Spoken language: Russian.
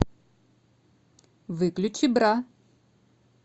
выключи бра